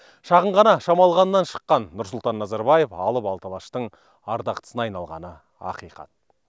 шағын ғана шамалғаннан шыққан нұрсұлтан назарбаев алып алты алаштың ардақтысына айналғаны ақиқат